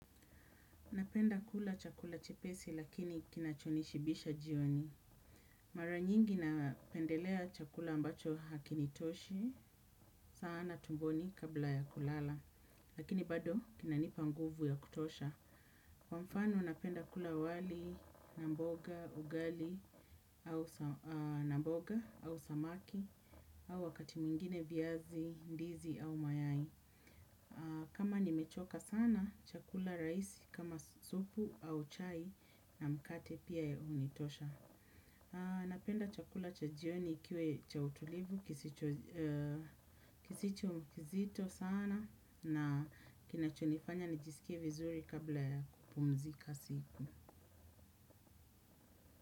Napenda kula chakula chepesi lakini kinacho nishibisha jioni. Mara nyingi napendelea chakula ambacho hakinitoshi, sana tumboni kabla ya kulala. Lakini bado kinanipa nguvu ya kutosha. Kwa mfano napenda kula wali, na mboga, ugali, na mboga, au samaki, au wakati mwingine viazi, ndizi au mayai. Kama nimechoka sana chakula rahisi kama supu au chai na mkate pia hunitosha. Napenda chakula cha jioni ikiwa cha utulivu kisicho kizito sana na kinachonifanya nijisikie vizuri kabla ya kupumzika siku.